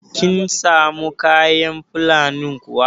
Kin samu kayan Fulanin kuwa?